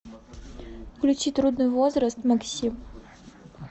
включи трудный возраст максим